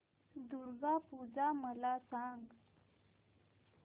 दुर्गा पूजा मला सांग